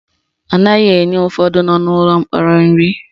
Anaghị enye ụfọdụ nọ n'ụlọ mkpọrọ nri